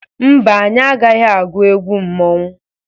Mba, anyị agaghị agwụ egwụ mmọnwụ.